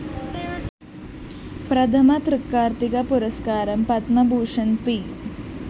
പ്രഥമ തൃക്കാര്‍ത്തിക പുരസ്‌കാരം പത്മഭൂഷണ്‍ പി